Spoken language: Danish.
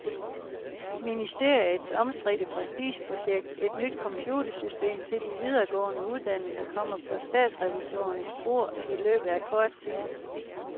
Ministeriets omstridte prestigeprojekt, et nyt computersystem til de videregående uddannelser, kommer på statsrevisorernes bord i løbet af kort tid.